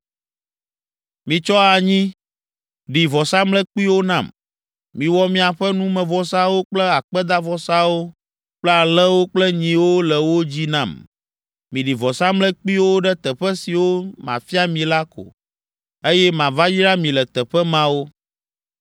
“ ‘Mitsɔ anyi ɖi vɔsamlekpuiwo nam. Miwɔ miaƒe numevɔsawo kple akpedavɔsawo kple alẽwo kple nyiwo le wo dzi nam. Miɖi vɔsamlekpuiwo ɖe teƒe siwo mafia mi la ko, eye mava yra mi le teƒe mawo.